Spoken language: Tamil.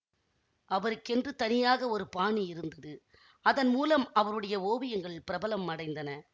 அவருக்கென்று தனியாக ஒரு பாணி இருந்தது அதன் மூலம் அவருடைய ஓவியங்கள் பிரபலம் அடைந்தன